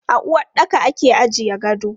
A uwaɗɗaka ake ajiye gado.